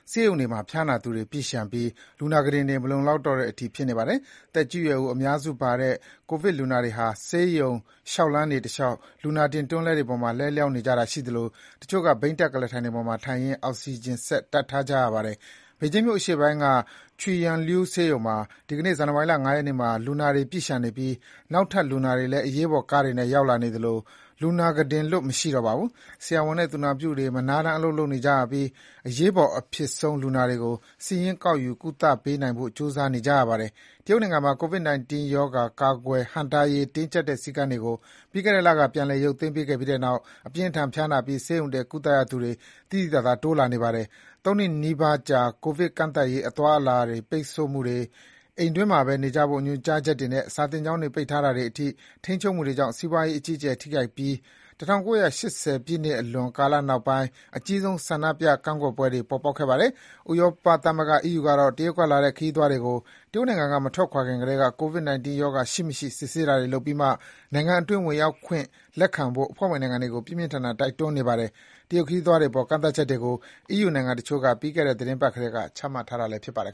ဆေးရုံတွေမှာ ဖျားနာသူတွေ ပြည့်လျှံပြီး လူနာကုတင်တွေ မလုံလောက်တော့တဲ့အထိ ဖြစ်နေပါတယ်။ သက်ကြီးရွယ်အိုအများစုပါတဲ့ ကိုဗစ်လူနာတွေဟာ ဆေးရုံ လျှောက်လှမ်းတွေတလျှောက် လူနာတင်တွန်းလှည်းပေါ်မှာ လဲလျှောင်းနေကြရတာရှိသလို တချို့က ဘီးတပ်ကုလားထိုင်ပေါ်မှာထိုင်ရင်း အောက်စီဂျင်စက် တပ်ထားရပါတယ်။ ဘေဂျင်းမြို့အရှေ့ပိုင်းက Chuiyangliu ဆေးရုံမှာဆိုရင် ဒီကနေ့ ဇန်နဝါရီ ၅ ရက်နေ့မှာ လူနာတွေ ပြည့်လျှံနေတဲ့အတွက် အရေးပေါ်ကားတွေနဲ့ ရောက်လာနေတဲ့ လူနာတွေအတွက် ကုတင်လွတ် မရှိတော့ပါဘူး။ ဆရာဝန်နဲ့သူနာပြုတွေ မနားတမ်း အလုပ် လုပ်နေကြရပြီး အရေးပေါ်အဖြစ်ဆုံး လူနာတွေကို စာရင်းကောက်ယူ ကုသပေးနိုင်ဖို့ ကြိုးစားနေကြရပါတယ်။ တရုတ်နိုင်ငံမှာ COVID-19 ရောဂါ ကာကွယ်ဟန့်တားရေး တင်းကျပ်တဲ့စည်းကမ်းတွေကို ပြီးခဲ့တဲ့လက ပြန်လည်ရုပ်သိမ်းပေးခဲ့ပြီးတဲ့နောက် အပြင်းအထန်ဖျားနာပြီး ဆေးရုံတက် ကုသရသူတွေ သိသိသာသာ တိုးလာနေတာပါ။ ၃ နှစ်နီးပါးကြာ ကိုဗစ်ကန့်သတ်ရေး အသွားအလာပိတ်ဆို့မှုတွေ၊ အိမ်တွင်းမှာပဲနေဖို့ ညွန်ကြားချက်တွေနဲ့ စာသင်ကျောင်းတွေ ပိတ်ပစ်တာတွေအထိ ထိန်းချုပ်မှုတွေကြောင့် စီးပွားရေး အကြီးအကျယ် ထိခိုက်ပြီး ၁၉၈၀ ပြည့်လွန်ကာလနောက်ပိုင်းအကြီးဆုံး ကန့်ကွက်ဆန္ဒပြပွဲတွေ ပေါ်ပေါက်ခဲ့ပါတယ်။ ဥရောပသမဂ္ဂ အီးယူကတော့ တရုတ်ကလာတဲ့ ခရီးသွားတွေကို တရုတ်နိုင်ငံက မထွက်ခွာခင်ကတည်းက COVID 19 ရောဂါ ရှိမရှိ စစ်ဆေးတာတွေလုပ်ပြီးမှ နိုင်ငံတွင်း ဝင်ရောက်ခွင့် လက်ခံဖို့ အဖွဲ့ဝင်နိုင်ငံတွေကို ပြင်းပြင်းထန်ထန် တိုက်တွန်းနေပါတယ်။ တရုတ်ခရီးသွားတွေအပေါ် ကန့်သတ်ချက်တွေကို အီးယူနိုင်ငံတချို့က ပြီးခဲ့တဲ့ သီတင်းပတ်ကတည်းက ချမှတ် ထားတာလည်း ဖြစ်ပါတယ်